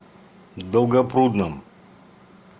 долгопрудном